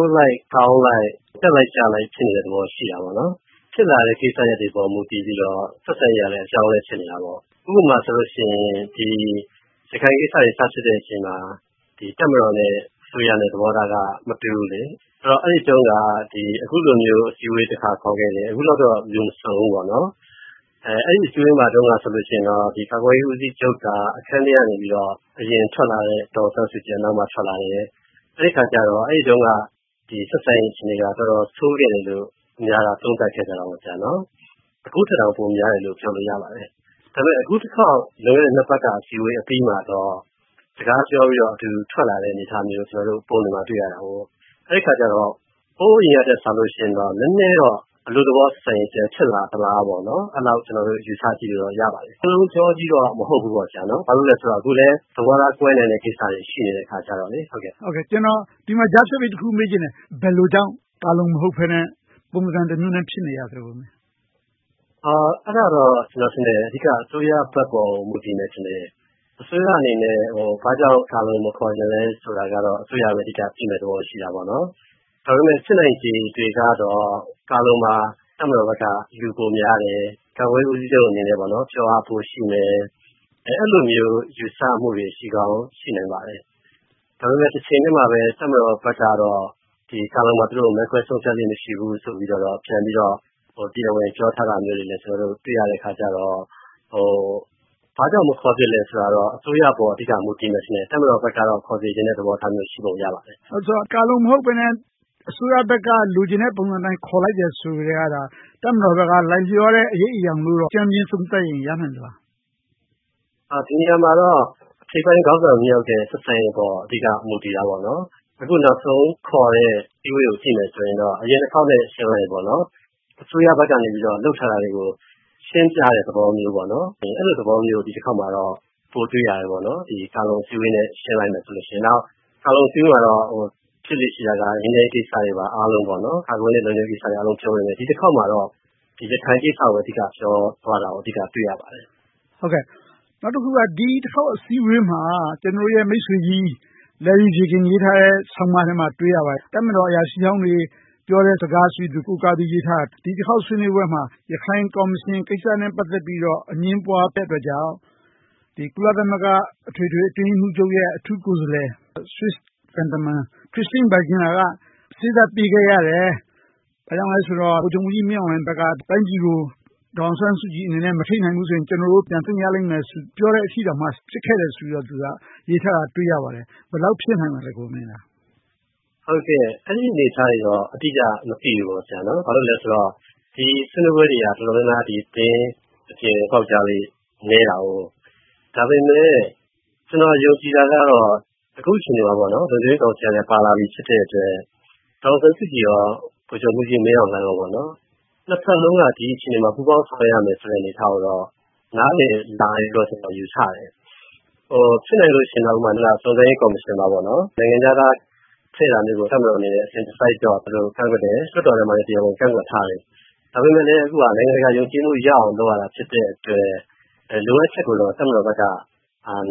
ုးလိုက်၊ ကောင်းလိုက်၊ တက်လိုက်ကျလိုက် ဖြစ်နေတဲ့သဘော ရှိတာပေါ့။ ဖြစ်လာတဲ့ကိစ္စရပ်တွေပေါ် မူတည်ပြီးတော့ ဆက်ဆံရေးကလည်း အပြောင်းအလဲ ဖြစ်နေတာပေါ့။ ဥပမာ ရခိုင်ကိစ္စတွေ စဖြစ်တဲ့အချိန်မှာ တပ်မတော်နဲ့ အစိုးရသဘောထားက မတူဘူး။ အဲဒီတုန်းက အခုလိုမျိုး အစည်းအဝေး တစ်ခါ ခေါ်ခဲ့တယ်။ အခုလိုတော့ လူမစုံဘူး။ အဲဒီအစည်းအဝေးမှာတုန်းက ကာကွယ်ရေးဦးစီးချုပ်က အခန်းထဲကနေ အရင်ထွက်လာတယ်။ ဒေါ်အောင်ဆန်းစုကြည်က နောက်မှထွက်လာတယ်။ အဲဒီတုန်းက ဆက်ဆံရေးအခြေအနေက တော်တော်ဆိုးခဲ့တယ်လို့ အများက သုံးသပ်ကြတယ်။ အခုထက်တောင် ပိုဆိုးတယ်လို့ ပြောလို့ရပါတယ်။ ဒါပေမဲ့ အခုတခေါက် လွန်ခဲ့တဲ့ နှစ်ပတ်အစည်းအဝေးမှာတော့ စကားပြောပြီးတော့ အတူတူထွက်လာတဲ့ အနေအထားမျိုးကို သတင်းတွေမှာ တွေ့ရတယ်။ အဲဒီအခါမှာတော့ ဟိုးအရင်ကထက်စာရင်တော့ နည်းနည်းတော့ အနုသဘောဆက်ဆံရေး ပြန်ဖြစ်လာသလားလို့ အဲဒီလို ယူဆကြည့်လို့ရပါတယ်။ စင်လုံးချောကြီးတော့ မဟုတ်ဘူးပေါ့။ ဘာဖြစ်လို့လဲဆိုတော့ အခုလည်း သဘောထားကွဲနိုင်တဲ့ ကိစ္စတွေ ရှိနေတဲ့အခါကြတော့။ ကျနော် ဒီမှာကြားဖြတ်ပြီး တစ်ခုမေးချင်တယ်။ ဘယ်လိုကြောင့် ကာလုံ မဟုတ်ဘဲနဲ့ ပုံစံတမျိုးနဲ့ ဖြစ်နေရလဲ။ အဲဒါတော့ အဓိက အစိုးရဘက်ပေါ် မူတည်မယ်ထင်တယ်။ အစိုးရအနေနဲ့ ဘာကြောင့် ကာလုံ မခေါ်ချင်လဲဆိုတာတော့ အစိုးရပဲ အဓိက သိနိုင်တဲ့သဘော ရှိပါတယ်။ ဒါပေမဲ့ ဖြစ်နိုင်ခြေကတော့ ကာလုံမှာ တပ်မတော်ဘက်က လူပိုများတယ်။ ကာကွယ်ရေးဦးစီးချုပ်အနေနဲ့ ပြောအားပိုရှိမယ်။ အဲဒီလိုမျိုး ယူဆမှုတွေ ရှိကောင်းရှိနိုင်ပါတယ်။ ဒါပေမဲ့ တချိန်တည်းမှာပဲ တပ်မတော်ဘက်ကတော့ ကာလုံမှာ မဲခွဲဆုံးဖြတ်လေ့ မရှိဘူးဆိုပြီး တရားဝင်ပြောထားတာတွေလည်း ကျနော်တို့ တွေ့ရတော့ ဘာကြောင့် မခေါ်ဖြစ်သလဲဆိုတာတော့ အစိုးရပေါ် အဓိက မူတည်မယ်ထင်တယ်။ တပ်မတော်ဘက်ကတော့ ခေါ်စေချင်တဲ့ သဘောမျိုးရှိပုံရပါတယ်။ ဆိုတော့ ကာလုံမဟုတ်ဘဲနဲ့ အစိုးရဘက်က လိုချင်တဲ့ပုံစံအတိုင်း ခေါ်လိုက်တယ်ဆိုကတည်းက တပ်မတော်ဘက်က လိုက်လျောတဲ့ အရိပ်အရောင်လို အကြမ်းမျဉ်းသုံးသပ်ရင် ရနိုင်မလား။ ဒီနေရာမှာတော့ ထိပ်ပိုင်းခေါင်းဆောင် နှစ်ယောက်ရဲ့ ဆက်ဆံရေးအပေါ် အဓိက မူတည်တာပေါ့။ အခုနောက်ဆုံးခေါ်တဲ့ အစည်းအဝေးကို ကြည့်မယ်ဆိုရင်တော့ အရင်အခေါက်နဲ့ ယှဉ်လိုက်ရင် အစိုးရဘက်ကနေ လုပ်ထားတာတွေကို ရှင်းပြတဲ့သဘောမျိုး၊ အဲဒီလို သဘောမျိုးကို ဒီတခေါက်မှာ ပိုတွေ့ရတယ်။ ကာလုံအစည်းအဝေးနဲ့ ယှဉ်လိုက်ရင်။ နောက် ကာလုံအစည်းအဝေးမှာ ဖြစ်လေ့ရှိတာက ငြိမ်းချမ်းရေးကိစ္စတွေပါ အားလုံး.. ကာကွယ်ရေးနဲ့ လုံခြုံရေးကိစ္စတွေ အားလုံးပြောပေမယ့် ဒီတခေါက်မှာတော့ ရခိုင်ကိစ္စကို အဓိကပြောသွားတာကို တွေ့ရပါတယ်။ နောက်တခုက ဒီတခေါက် အစည်းအဝေးမှာ ကျနော်တို့ရဲ့ မိတ်ဆွေကြီး Larry Jagen ရေးထားတဲ့ ဆောင်းပါးထဲမှာ တွေ့ရပါတယ်။ တပ်မတော်အရာရှိဟောင်းတွေ ပြောတဲ့စကားတွေကို ကိုးကားပြီး ရေးထားတာက ဒီတခေါက် အစည်းအဝေးမှာ ရခိုင်ကော်မရှင်ကိစ္စနဲ့ ပတ်သက်ပြီးတော့ အငြင်းပွားခဲ့တဲ့အတွက်ကြောင့် ကုလသမဂ္ဂ အထွေထွေအတွင်းရေးမှူးချုပ်ရဲ့ အထူးကိုယ်စားလှယ် Swiss သံတမန် Christine Schraner Burgener က စေ့စပ်ပေးခဲ့ရတယ်။ ဘာကြောင့်လဲဆိုတော့ ဗိုလ်ချုပ်မှူးကြီး မင်းအောင်လှိုင်ဘက်က တိုင်းပြည်ကို ဒေါ်အောင်ဆန်းစုကြည်အနေနဲ့ မထိန်းနိုင်ဘူးဆိုရင် ကျနော်တို့ ပြန်သိမ်းရလိမ့်မယ်လို့ ပြောတဲ့အထိကို ဖြစ်ခဲ့ဆိုပြီးတော့ သူက ရေးထားတာကို တွေ့ရတယ်။ ဘယ်လောက် ဖြစ်နိုင်ပါသလဲ။ အဲဒီအနေအထားတွေတော့ အတိအကျ မသိပါဘူး။ ဘာလို့လဲဆိုတော့ ဒီဆွေးနွေးပွဲတွေက တော်တော်များများ သတင်းအပြင် ပေါက်ကြားလေ့ နည်းတယ်။ ဒါပေမဲ့ ကျနော် ယုံကြည်တာကတော့ အခုအခြေအနေမှာ လုံခြုံရေးကောင်စီကလည်း ပါလာပြီဖြစ်တဲ့အတွက် ဒေါ်အောင်ဆန်းစုကြည်နဲ့ ဗိုလ်ချုပ်မှူးကြီး မင်းအောင်လှိုင်တို့ နှစ်ဘက်စလုံးမှာ ဒီအချိန်မှာ ပူးပေါင်းဆောင်ရွက်နိုင်ရမယ့်ဆိုတဲ့ အနေအထားကိုတော့ နားလည်လာတယ်လို့ ကျနော် ယူဆတယ်။ ဖြစ်နိုင်လို့ရှိရင် စုံစမ်းရေးကော်မရှင်မှာ နိုင်ငံခြားသား ထည့်တာမျိုးကို တပ်မတော်အနေနဲ့ အစဉ်တစိုက်တော့ ကန့်ကွက်တယ်။ လွှတ်တော်ထဲမှာလည်း တရားဝင်ကန့်ကွက်ထားတယ်။ ဒါပေမဲ့လဲ နိုင်ငံတကာ ယုံကြည်မှုရအောင် လုပ်ရတာ ဖြစ်တဲ့အတွက် လိုအပ်ချက်ကိုတော့ တပ်မတော်ဘက်က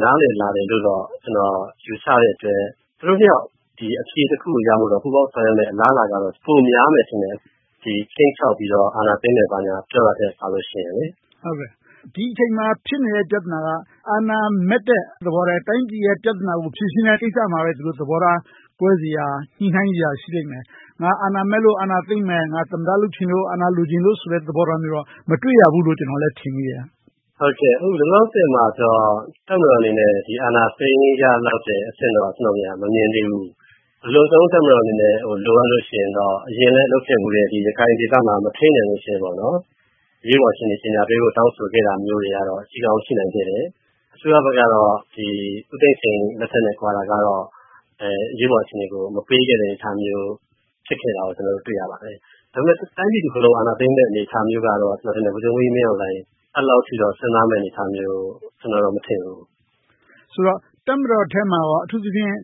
နားလည်လာတယ်လို့တော့ ကျနော် ယူဆတဲ့အတွက် သူတို့နှစ်ယောက် အဖြေတခုကိုရဖို့အတွက် ပူးပေါင်းဆောင်ရွက်မယ့် အလားအလာကတော့ ပိုများမယ်ထင်တယ်။ ခြိမ်းခြောက်ပြီးတော့ အာဏာသိမ်းမယ် ပြောတာမျိုးထက်။ ဒီအချိန်မှာ ဖြစ်နေတဲ့ပြဿနာက အာဏာမက်တဲ့သဘောထားထက်- တိုင်းပြည်ရဲ့ ပြဿနာကို ဖြေရှင်းတဲ့ကိစ္စမှာပဲ ဒီလိုသဘောထား ကွဲစရာ၊ ညှိနှိုင်းစရာ ရှိလိမ့်မယ်။ ငါ အာဏာမက်လို့ အာဏာသိမ်းမယ်။ သမ္မတ လုပ်ချင်လို့ အာဏာလိုချင်လို့ဆိုတဲ့ သဘောမျိုးတော့ မတွေ့ရဘူးလို့ ကျနော်လည်း ထင်မိတယ်။ လောလောဆယ်မှာတော့ တပ်မတော်အနေနဲ့ အာဏာသိမ်းရလောက်တဲ့အဆင့်တော့ မမြင်သေးဘူး။ အလွန်ဆုံး တပ်မတော်အနေနဲ့ လိုအပ်လို့ရှိရင်တော့ အရင်လဲလုပ်ခဲ့ဖူးတဲ့ ရခိုင်ဒေသမှာ မထိန်းနိုင်တော့ဘူးဆိုရင် အရေးပေါ်အခြေအနေ ကြေညာပေးဖို့ တောင်းဆိုခဲ့တာတွေ ရှိကောင်းရှိနိုင်ခဲ့တယ်။ အစိုးရဘက်ကတော့ ဦးသိန်းစိန်လက်ထက်နဲ့ ကွာတာကတော့ အရေးပေါ်အခြေအနေကို မပေးခဲ့တဲ့ အနေအထားမျိုး ဖြစ်ခဲ့တာကို ကျနော်တို့ တွေ့ရပါတယ်။ ဒါပေမဲ့ တိုင်းပြည်တခုလုံး အာဏာသိမ်းမယ့် အနေအထားမျိုးကတော့ ဗိုလ်ချုပ်မှူးကြီးမင်းအောင်လှိုင် အဲဒီလောက်အထိတော့ စဉ်းစားမယ်လို့ ကျနော်တော့ မထင်ဘူး။ ဆိုတော့ တပ်မတော်ထဲမှာကော အထူးသဖြင့်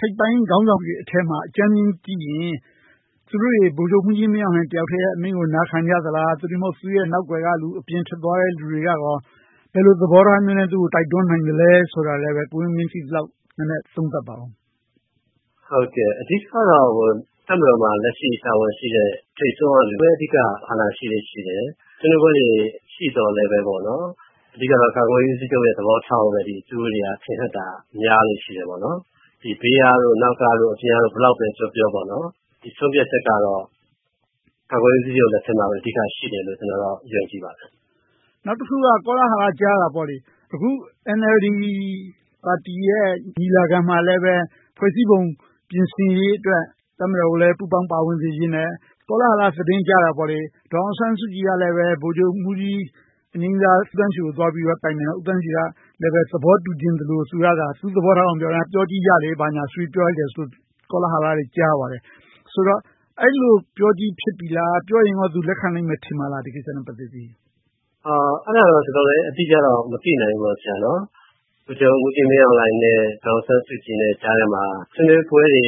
ထိပ်ပိုင်းခေါင်းဆောင်တွေထဲမှာ အကြမ်းမျဉ်းကြည့်လိုက်ရင် သူတို့တွေ ဗိုလ်ချုပ်မှူးကြီးမင်းအောင်လှိုင် တယောက်ထဲကို နားခံကြသလား။ သို့တည်းမဟုတ် သူ့ရဲ့နောက်ကွယ်ကလူ အပြင်ထွက်သွားတဲ့ လူတွေကရော ဘယ်လိုသဘောထားမျိုးနဲ့ သူကို တိုက်တွန်းနိုင်သလဲဆိုတာကို ကိုဝင်းမင်း သိသလောက် နည်းနည်းသုံးသပ်ပါအုံး။ အဓိကတော့ တပ်မတော်မှာ လက်ရှိတာဝန်ရှိနေတဲ့ ထိပ်ဆုံးကလူပဲ အာဏာရှိတယ်။ ဆွေးနွေးပွဲတွေ ရှိသော်လဲ အဓိကတော့ ကာကွယ်ရေးဦးစီးချုပ်ရဲ့ သဘောထားကိုပဲ သူတို့တွေ ထင်ဟပ်တာများလေ့ရှိတယ်။ ဘေးက၊ နောက်က၊ အပြင်ကတို့ ဘယ်လောက်ပဲပြောပြော ဆုံးဖြတ်ချက်ကတော့ ကာကွယ်ရေးဦးစီးချုပ် လက်ထဲမှာပဲ အဓိကရှိတယ်လို့ ကျနော် ယုံကြည်ပါတယ်။ နောက်တခုက ကောလာဟလ ကြားရတာက အခု NLD ပါတီရဲ့ ညီလာခံမှာလည်း ဖွဲ့စည်းပုံ ပြင်ဆင်ရေးအတွက် တပ်မတော်ကိုလည်း ပူးပေါင်းပါဝင်စေချင်တယ်။ ကောလာဟလ သတင်းကြားတာက ဒေါ်အောင်ဆန်းစုကြည်ကလည်း ဗိုလ်ချုပ်မှူးကြီး ဦးသန်းရွှေ ကို သွားတိုင်ပင်တယ်။ ဦးသန်းရွှေကလည်း သဘောတူချင်သလို၊ သူ့သဘောထားက ပြောကြည့်ကြလေဆိုပြီး ပြောလိုက်တယ်လို့ ကောလာဟလ ကြားရပါတယ်။ ဆိုတော့ အဲဒီလိုပြောကြေး ဖြစ်နေပြီလား။ ပြောရင်ကော ဒီကိစ္စကို သူလက်ခံမယ် ထင်ပါသလား။ အဲဒါတော့ ကျနော် အတိအကျ မသိနိုင်ဘူး။ ဗိုလ်ချုပ်မှူးကြီးမင်းအောင်လှိုင်နဲ့ ဒေါ်အောင်ဆန်စုကြည် ကြားထဲမှာ ဆွေးနွေးပွဲတွေ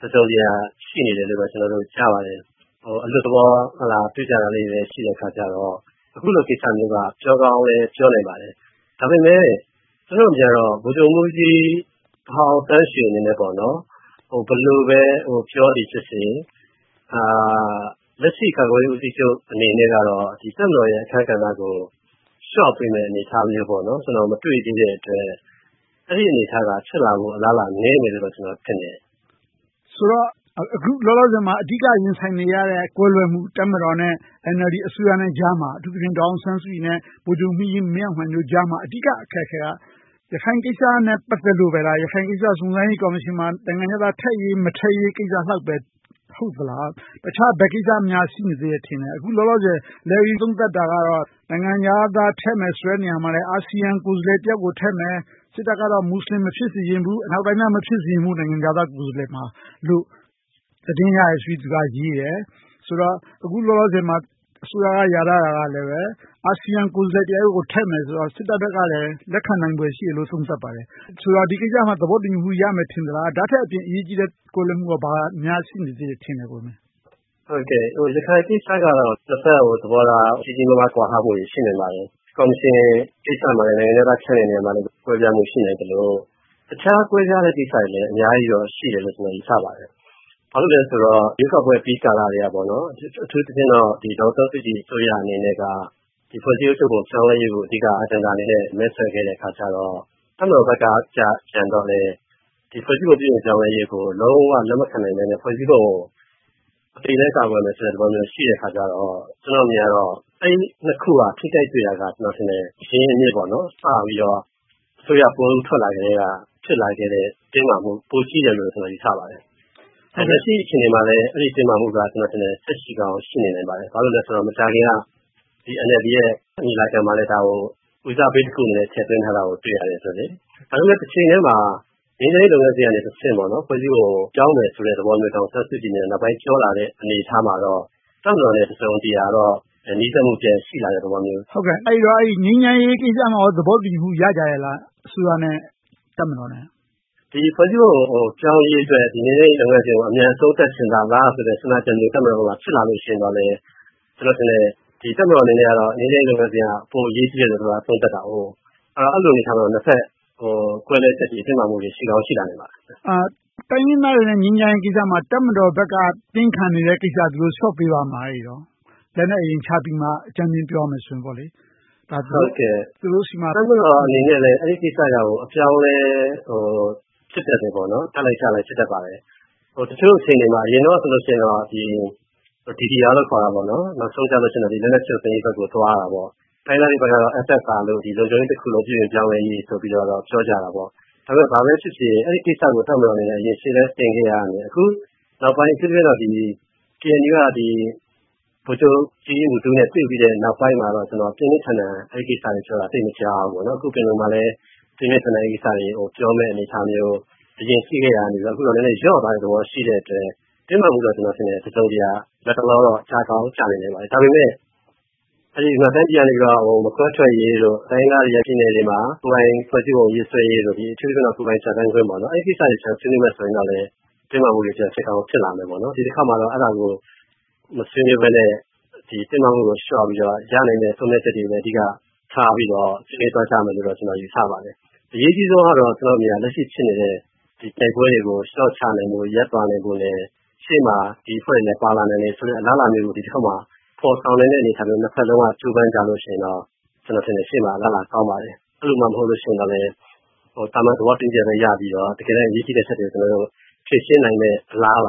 တစုံတရာရှိနေတယ်လို့ ကျနော်တို့ ကြားပါတယ်။ အလွတ်သဘော တွေ့ကြတာတွေလည်း ရှိနေတော့ အခုလို ကိစ္စမျိုးက ပြောကောင်းလည်း ပြောနိုင်ပါတယ်။ ဒါပေမဲ့ ကျနော့်အမြင်ကတော့ ဗိုလ်ချုပ်မှူးကြီးဟောင်း သန်းရွှေအနေနဲ့ ဘယ်လိုပဲ ပြောသည်ဖြစ်စေ၊ လက်ရှိကာကွယ်ရေး ဦးစီးချုပ်အနေနဲ့ တပ်မတော်ရဲ့အခန်းကဏ္ဍကို လျှော့ပေးမယ့် အနေအထားမျိုးကို ကျနော် မတွေ့သေးတဲ့အတွက် အဲဒီအနေအထားက ဖြစ်လာဖို့နည်းတယ်လို့ ကျနော်ထင်တယ်။ ဆိုတော့ အခုလောလောဆယ်မှာ အဓိက ရင်ဆိုင်နေရတဲ့ ကွဲလွဲမှု တပ်မတော်နဲ့ NLD အစိုးရကြားမှာ ဒေါ်အောင်ဆန်းစုကြည်နဲ့ ဗိုလ်ချုပ်မှူးကြီးမင်းအောင်လှိုင် ကြားမှာ အဓိက အခက်အခဲက ရခိုင်ကိစ္စနဲ့ ပတ်သက်လို့ပဲလား။ ရခိုင်ကိစ္စ စုံစမ်းရေးကော်မရှင်မှာ နိုင်ငံခြားသား ထည့်ရေးမထည့်ရေး ကိစ္စလောက်ပဲ ဟုတ်သလား။ တခြားဘယ်ကိစ္စများ ရှိနေသေးလဲ။ အခုလောလောဆယ် Larry သုံးသပ်တာက နိုင်ငံခြားသား ထည့်မယ်ဆိုတဲ့ နေရာမှာလဲ အာဆီယံကိုယ်စားလှယ်တယောက်ကို ထည့်မယ်။ စစ်တပ်ကတော့ မူစလင် မဖြစ်စေချင်ဘူး။ အနောက်ဘက်က မဖြစ်စေချင်ဘူးလို့ သတင်းရတယ်လို့ သူက ရေးခဲ့တယ်။ အခုလောလောဆယ်မှာ အစိုးရက ရာထားတာကလဲ အာဆီယံကိုယ်စားလှယ်တယောက်ယောက်ကို ထည့်မယ်ဆိုတော့ စစ်တပ်ဘက်ကလည်း လက်ခံနိုင်မယ်လို့ သုံးသပ်ပါတယ်။ ဆိုတော့ ဒီကိစ္စကို သဘောတူညီမှုရမယ်လို့ ထင်သလား။ ဒါထက်အပြင် အရေးကြီးတဲ့ ကွဲလွဲမှု ဘာတွေများ ရှိနေသေးလဲ။ ရခိုင်ကိစ္စကတော့ နှစ်ဘက်သဘောထား ကြီးကြီးမားမား ကွာဟမှုတွေ ရှိနိုင်ပါတယ်။ ကော်မရှင်ကိစ္စမှာ နိုင်ငံခြားသား ထည့်တဲ့နေရာမှာလည်း ကွဲပြားမှု ရှိနိုင်သလို၊ တခြားကွဲပြားတဲ့ကိစ္စတွေလည်း အများကြီးတော့ ရှိနိုင်တယ်လို့ ယူဆပါတယ်။ ဘာဖြစ်လို့လဲဆိုတော့ ရွေးကောက်ပွဲအပြီးကာလကတည်းက အထူးသဖြင့် ဒေါ်အောင်ဆန်းစုကြည် အစိုးရအနေနဲ့ ဖွဲ့စည်းပုံဥပဒေ ပြောင်းလဲရေးကို အဓိကထား မဲဆွယ်ခဲ့တယ်ဆိုတော့ တပ်မတော်ဘက်ကကြည့်ရင် ဖွဲ့စည်းပုံ ပြောင်းလဲရေးကို လုံးဝလက်မခံဘဲ။ ဖွဲ့စည်းပုံကို အသေအလဲ ကာကွယ်မယ်ဆိုပြီ ရှိတဲ့အခါကြတော့ ကျနော့်အမြင်က အဲဒီနှစ်ခုက ထိခိုက်တွေ့တာက အရင်းအမြစ် စပြီးတော့ အစိုးရပွဲဦးထွက်လာကတည်းက စဖြစ်လာတဲ့ တင်းမာမှုက ပိုကြီးတယ်လို့ ကျနော် ယူဆပါတယ်။ လက်ရှိ အခြေအနေမှာလည်း အဲဒီတင်းမာမှုက ကျနော်ထင်တယ် ဆက်ရှိကောင်း ရှိနိုင်ပါတယ်။ ဘာဖြစ်လို့လဲဆိုတော့ မကြာခင်က NLD ညီလာခံမှာလည်း ဒီကိစ္စကို ဦးစားပေးကိစ္စအနေနဲ့ ထည့်သွင်းထားတာကို တွေ့ရတယ်။ ဒါပေမဲ့ တချိန်တည်းမှာ ငြိမ်းချမ်းရေးလုပ်ငန်းစဉ်ကတဆင့် ဖွဲ့စည်းပုံကို ပြောင်းမယ်ဆိုတဲ့ သဘောမျိုးတော့ ဒေါ်အောင်ဆန်းစုကြည်အနေနဲ့ နောက်ပိုင်းပြောလာတဲ့ အနေအထားမှာတော့ တပ်မတော်နဲ့ တစုံတရာတော့ နီးစပ်မှု ရှိလာတဲ့သဘော။ အဲဒီတော့ ငြိမ်းချမ်းရေးကိစ္စမှာကော သဘောတူညီမှု ရကြရဲ့လား။ အစိုးရနဲ့ တပ်မတော်နဲ့။ ဒီဖွဲ့စည်းပုံ ပြောင်းရေးအတွက် ငြိမ်းချမ်းရေးလုပ်ငန်းစဉ်ကို အမြန်ဆုံး လုပ်နေပါလားဆိုတဲ့ စဉ်းစားချက်မျိုး တပ်မတော်က ဖြစ်လာလို့ရှိလာရင်တော့ ကျနော်ထင်တယ် တပ်မတော်အနေနဲ့ ငြိမ်းချမ်းရေးလုပ်ငန်းစဉ်က ပိုအရေးကြီးတယ်လို့ အဆုံးသတ်တာကို။ အဲဒီအနေအထားမှာ နှစ်ဘက် ကွဲလွဲမှုတွေ၊ တင်းမာမှုတွေ ရှိကောင်းရှိလာနိုင်ပါတယ်။ တိုင်းရင်းသားတွေနဲ့ ငြိမ်းချမ်းရေးကိစ္စမှာ တပ်မတော်ဘက်က တင်းခံနေတဲ့ကိစ္စကို လျှော့ပေးပါ့မလား။ လက်နက်အရင်ချပြီးမှ အကြမ်းမျဉ်းပြောကြမယ်ဆိုရင်ပေါ့။ တပ်မတော်အနေနဲ့လဲ အဲဒီကိစ္စကို အပြောင်းအလဲ ဖြစ်စဉ်က တက်လိုက်ကျလိုက် ဖြစ်တတ်ပါတယ်။ တချို့အခြေအနေမှာ အရင်တုန်းကဆိုရင် DDR နောက်ဆုံးတော့ လက်နက်ဖျက်သိမ်းရေးဘက်ကို သွားတာပေါ့။ တိုင်းရင်းသားတွေဘက်ကတော့ SSR လုံခြုံရေးတခုလုံး ပြုပြင်ပြောင်းလဲရေးဆိုပြီး ပြောကြတာပေါ့။ ဒါပေမဲ့ ဘာပဲဖြစ်ဖြစ် အဲဒီကိစ္စကို တပ်မတော်အနေနဲ့ အရင်ရှေ့တန်းတင်လာခဲ့ရာကနေ အခုနောက်ပိုင်း KNU က ဗိုလ်ချုပ်ကြီးမူးတူးနဲ့ တွေ့ပြီးတဲ့နောက်ပိုင်းမှာတော့ ပြင်းပြင်းထန်ထန် အဲဒီကိစ္စတွေကိုပြောတာ သိပ်မကြားရဘူး။ အခု ပင်လုံမှာလည်း ပြင်းပြင်းထန်ထန် အဲဒီကိစ္စတွေကို ပြောမယ့်အနေအထားမျိုး အရင်ရှိခဲ့ရာကနေ အခုလျော့သွားပြီ ရှိတဲ့အတွက် တင်းမာမှုတော့ တစုံတရာ လက်တလောတော့ ကျကောင်းကျနိုင်ပါတယ်။ ဒါပေမဲ့ မခွဲထွက်ရေးတို့၊ တိုင်းရင်းသားဒေသတွေမှာ ကိုယ်ပိုင်ဖွဲ့စည်းပုံ ရေးဆွဲရေးတို့ အထူးသဖြင့် ကိုယ်ပိုင်ပြဌာန်းခွင့်တို့ အဲဒီကိစ္စတွေကို ဆွေးနွေးမယ်ဆိုရင်တော့ တင်းမာမှုတွေ ပြန်ဖြစ်ကောင်း ဖြစ်လာနိုင်တယ်။ ဒီတခေါက်မှာတော့ အဲဒီလိုမျိုး မဆွေးနွေးဘဲနဲ့ တင်းမာမှုတွေကို လျှော့ပြီးတော့ ရနိုင်တဲ့ ဆုံးဖြတ်ချက်တွေကို အဓိကထားပြီးတော့ ဆွေးနွေးသွားကြမယ်လို့ ကျနော် ယူဆပါတယ်။ အရေးကြီးဆုံးကတော့ လက်ရှိ ဖြစ်နေတဲ့ တိုက်ပွဲတွေကို လျှော့ချနိုင်ဖို့၊ ရပ်သွားနိုင်ဖို့နဲ့ ရှေ့မှာ ဒီအဖွဲ့တွေလည်း ပါလာနိုင်တဲ့ အလားအလာမျိုးကို ဒီတခေါက်မှာ ဖော်ဆောင်နိုင်တဲ့ အနေအထားမျိုး ကြိုးပမ်းကြမယ်ဆိုရင်တော့ ကျနော်ထင်တယ် ရှေ့မှာ အလားအလာ ကောင်းပါတယ်။ အဲဒီလုမှ မဟုတ်လို့ဆိုရင် သာမန်သဘောတူညီချက်ပဲ ရပြီးတော့ တကယ်တမ်း အရေးကြီးတဲ့အချက်တွေကို ကျနော်တို့ ဖြေရှင်းနိုင်မယ့် အလားအလာ